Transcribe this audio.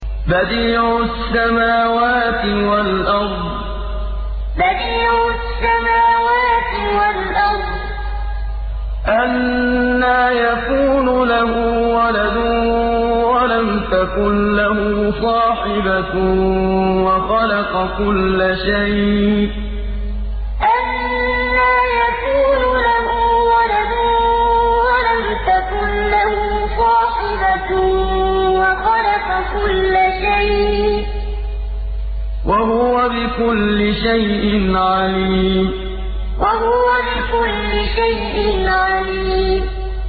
بَدِيعُ السَّمَاوَاتِ وَالْأَرْضِ ۖ أَنَّىٰ يَكُونُ لَهُ وَلَدٌ وَلَمْ تَكُن لَّهُ صَاحِبَةٌ ۖ وَخَلَقَ كُلَّ شَيْءٍ ۖ وَهُوَ بِكُلِّ شَيْءٍ عَلِيمٌ بَدِيعُ السَّمَاوَاتِ وَالْأَرْضِ ۖ أَنَّىٰ يَكُونُ لَهُ وَلَدٌ وَلَمْ تَكُن لَّهُ صَاحِبَةٌ ۖ وَخَلَقَ كُلَّ شَيْءٍ ۖ وَهُوَ بِكُلِّ شَيْءٍ عَلِيمٌ